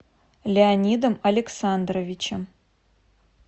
леонидом александровичем